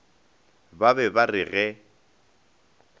ba be ba re ge